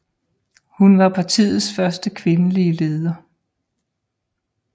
Hun var partiets første kvindelige leder